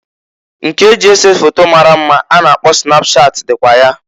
Nke eji ese foto mara mma a na-akpọ snapchat dịkwa ya.